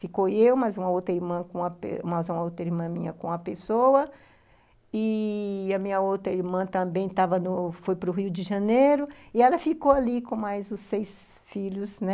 Ficou eu, mais uma outra irmã minha com a pessoa, e... a minha outra irmã também foi para o Rio de Janeiro, e ela ficou ali com mais os seis filhos, né?